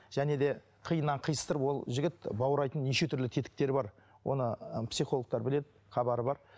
және де қиыннан қиыстырып ол жігіт баурайтын неше түрлі тетіктері бар оны ы психологтар біледі хабары бар